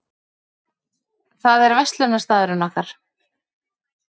Það er verslunarstaðurinn okkar.